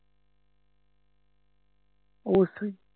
অবশ্যই